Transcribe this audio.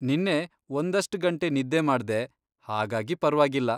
ನಿನ್ನೆ ಒಂದಷ್ಟ್ ಗಂಟೆ ನಿದ್ದೆ ಮಾಡ್ದೆ, ಹಾಗಾಗಿ ಪರ್ವಾಗಿಲ್ಲ.